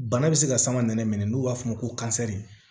Bana bɛ se ka sangan minɛ minɛ n'u b'a f'o ma ko